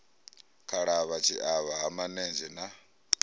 khalavha tshiavha ha manenzhe na